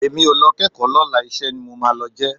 Èmi ò lọ kẹ́kọ̀ọ́ lọ́la iṣẹ́ ni màá lọ jẹ́